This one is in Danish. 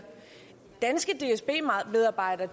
danske dsb medarbejdere